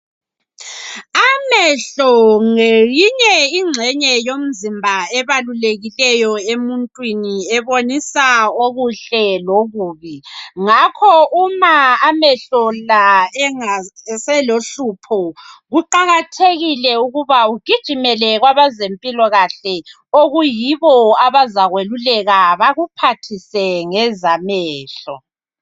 Amehlo ngeyinye inxenye yomzimba ebalulekileyo emuntwini ebonisa okuhle lokubi ngakho uma amehlo la eselohlupho kuqakathekile ukuba ugijimele kwabazempilakahle okuyibo abazakweluleka bakuphathise ngeza mehlo